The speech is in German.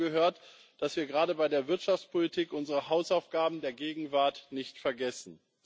Dazu gehört, dass wir gerade bei der Wirtschaftspolitik unsere Hausaufgaben der Gegenwart nicht vergessen.